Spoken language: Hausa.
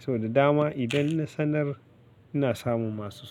so da dama, idan na sanar ina samun masu so.